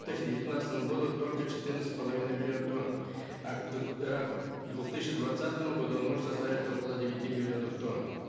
девятнадцатому году только четырнадцать с половиной миллионов тонн двух тысячи двадцатому году он может составить около девяти миллионов тонн